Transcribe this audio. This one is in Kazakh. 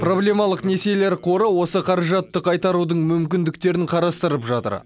проблемалық несиелер қоры осы қаражатты қайтарудың мүмкіндіктерін қарастырып жатыр